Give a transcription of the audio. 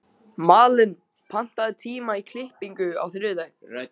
Malen, pantaðu tíma í klippingu á þriðjudaginn.